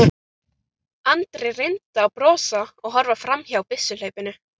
Andri reyndi að brosa og horfa fram hjá byssuhlaupinu.